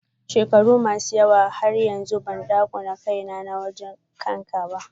shekaru masu yawa dasuka wuche har yanzu bandakuna waje ne na saukaka kanka.